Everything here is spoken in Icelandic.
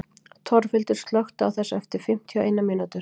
Torfhildur, slökktu á þessu eftir fimmtíu og eina mínútur.